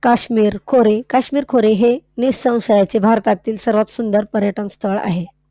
काश्मीर खोरे, काश्मीर खोरे हे निसंशयाचे भारतातील सर्वात सुंदर पर्यटनस्थळ आहे.